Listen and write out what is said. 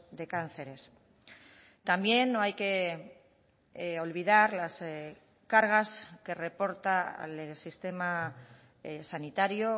de cánceres también no hay que olvidar las cargas que reporta al sistema sanitario